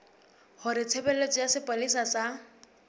hore tshebeletso ya sepolesa sa